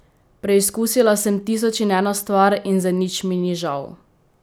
Preizkusila sem tisoč in eno stvar in za nič mi ni žal.